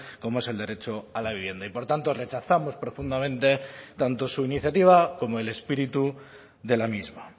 como es el derecho a la vivienda y por tanto rechazamos profundamente tanto su iniciativa como el espíritu de la misma